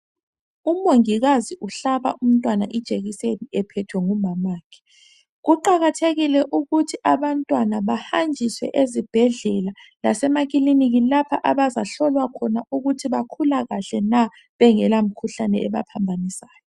Umongikazi umhlaba umntwana ijekiseni ephethwe ngumama wakhe kuqakathekile ukuthi abantwana bahanjiswe ezibhendlela lasemakiliniki lapha abazahlolwa khona ukuthi bakhula kahle na bengela mkhuhlane ebaphambanisayo